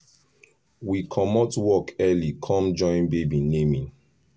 we commot work early com joinbaby naming